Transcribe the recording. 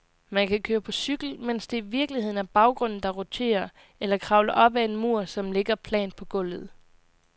Man kan køre på cykel, mens det i virkeligheden er baggrunden, der roterer, eller kravle op ad en mur, som ligger plant på gulvet.